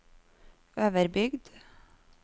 Øverbygd